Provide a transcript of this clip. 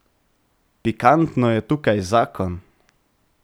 Pikantno je tukaj zakon.